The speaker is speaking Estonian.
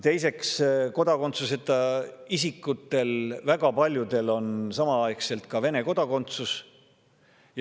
Teiseks, nendest kodakondsuseta isikutest väga paljudel on samaaegselt Vene kodakondsus.